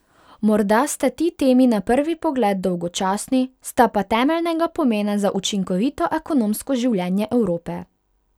Morda sta ti temi na prvi pogled dolgočasni, sta pa temeljnega pomena za učinkovito ekonomsko življenje Evrope.